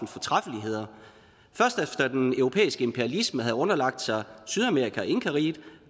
fortræffeligheder først efter den europæiske imperialisme havde underlagt sig sydamerika og inkariget